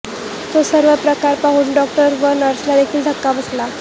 तो सर्व प्रकार पाहून डॉक्टर व नर्सला देखील धक्का बसला